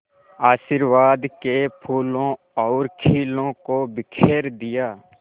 आशीर्वाद के फूलों और खीलों को बिखेर दिया